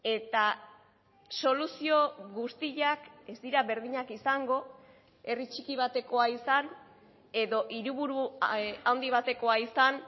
eta soluzio guztiak ez dira berdinak izango herri txiki batekoa izan edo hiriburu handi batekoa izan